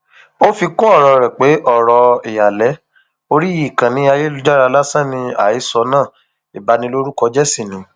ó fi kún ọrọ rẹ pé ọrọ ìhàlẹ orí ìkànnì ayélujára lásán ni àhesọ náà ìbanilórúkọjẹ sì ni